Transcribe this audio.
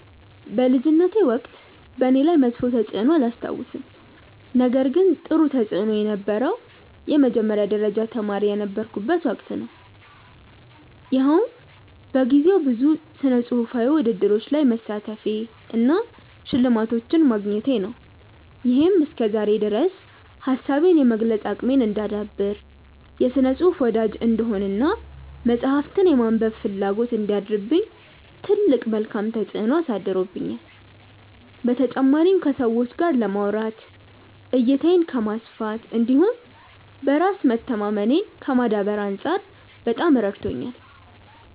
በልጅነቴ ወቅት በእኔ ላይ መጥፎ ተፅዕኖ አላስታውስም ነገር ግን ጥሩ ተፅእኖ የነበረው የመጀመሪያ ደረጃ ተማሪ የነበርኩበት ወቅት ነው። ይኸውም በጊዜው ብዙ ስነፅሁፋዊ ውድድሮች ላይ መሳተፌ እና ሽልማቶችን ማግኘቴ ነው። ይሄም እስከዛሬ ድረስ ሀሳቤን የመግለፅ አቅሜን እንዳዳብር፣ የስነ ፅሁፍ ወዳጅ እንድሆን እና መፅሀፍትን የማንበብ ፍላጎት እንዲያድርብኝ ትልቅ መልካም ተፅዕኖ አሳድሮብኛል። በተጨማሪም ከሰዎች ጋር ለማውራት፣ እይታዬን ከማስፋት እንዲሁም በራስ መተማመኔን ከማዳበር አንፃር በጣም ረድቶኛል።